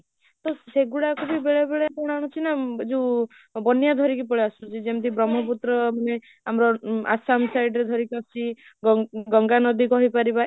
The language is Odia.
ତ ସେଇ ଗୁଡାକବି ବେଳେ ବେଳେ କଣ ହଉଛି ନା ଯାଉ ବନ୍ୟା ଧରିକି ପଳେଇଆସୁଛି ଯେମିତି ବ୍ରମହପୁତ୍ର ଆମ ଆସାମ side ରୁ ଧରିକି ଆସୁଛି ଗଙ୍ଗା ନଦୀ କହି ପାରିବା